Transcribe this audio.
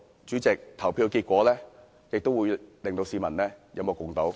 主席，投票結果會令到市民有目共睹。